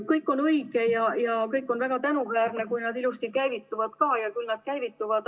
Kõik on õige ja kõik on väga tänuväärne, kui need programmid ilusti käivituvad ka, ja küll nad käivituvad.